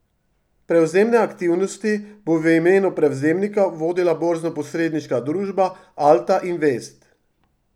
Prevzemne aktivnosti bo v imenu prevzemnika vodila borznoposredniška družba Alta Invest.